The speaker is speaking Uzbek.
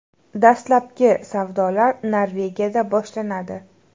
Dastlabki savdolar Norvegiyada boshlanadi.